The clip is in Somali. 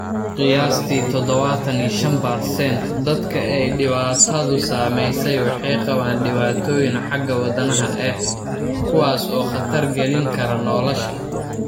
Qiyaastii 75% dadka ay dhibaatadu saameysey waxay qabaan dhibaatooyin xagga wadnaha ah, kuwaas oo khatar gelin kara nolosha.